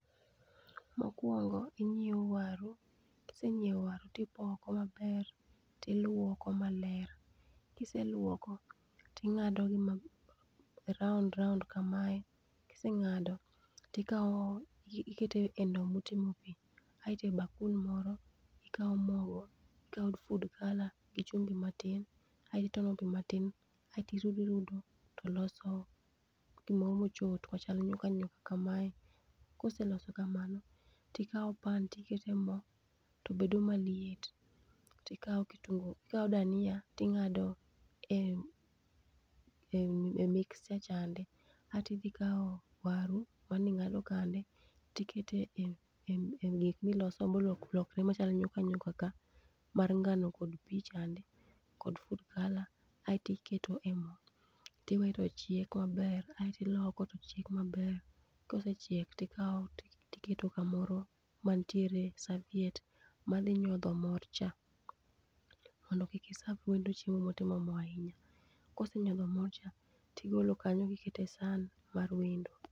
Mokuongo inyiewo waru, kisenyiewo waru ti ipoko ma ber ti ilwoko maler. Kiselwoko ti ing'ado gi ma round round ka ma kiseng'ado ti ikawo iketo e ndoo ma otimo pi aito bakul moro, ikawo mogo, ikawo food colour gi chumbi ma tin, aitone pi ma tin aito irudo irudo to loso gi moro mo ochot ma chal gi nyuka nyuka ka ma kaseloso kamano tikawo pan ti ikete moo to bedo ma liet ti kawo kitungu ti kawo dania ti inago e mixture chande, aito idhi kawo waru ma ne ingado kande ti iketo e gik mi iloso ma olokre ma chalo nyuka nyuka ka mar ng'ano, kod pi chande ,kod food colour ,aito iketo e moo ti we to chiek ma ber ti iloko to chiek ma ber kosechiek to ikawo ti iketo ka moro ma nitiere serviette ma dhi nyodho mor cha mondo kik iserve wendo chiemo mo otimo moo ahinya. Kosenyodho mor cha ti igolo kanyo ti iketo e san mar wendo.